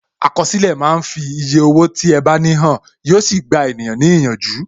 Àkọsílẹ̀ máa ń fi eye owó tí ẹ bá ní hàn, yo sì gba ènìyàn ní ìyànjú.